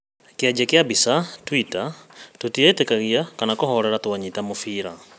Kĩanjia kĩa mbica, Twitter ‘’tũtieĩtĩkagia kana kũhorera twanyita mũbira’’